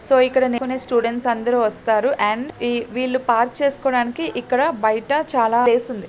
So ఇక్కడ students అందరూ వస్తారు. అండ్ ఈ వీళ్ళు పార్కు చేసుకోవడానికి ఇక్కడ బయట చాలా ప్లేస్ ఉంది.